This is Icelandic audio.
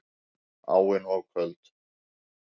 Áin of köld